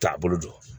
Taabolo jɔ